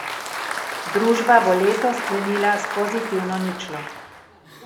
Družba bo leto sklenila s pozitivno ničlo.